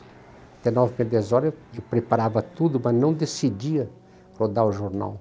Até nove e meia, dez horas eu preparava tudo, mas não decidia rodar o jornal.